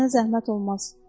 Sənə zəhmət olmaz.